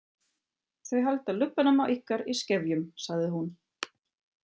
Þau halda lubbanum á ykkur í skefjum, sagði hún.